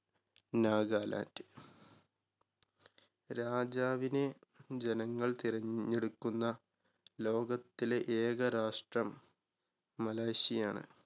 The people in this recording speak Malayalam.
നാഗാലാ‌ൻഡ്. രാജാവിനെ ജനങ്ങൾ തിരഞ്ഞെടുക്കുന്ന ലോകത്തിലെ ഏക രാഷ്ട്രം മലേഷ്യയാണ്.